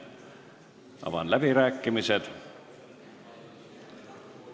Avan läbirääkimised.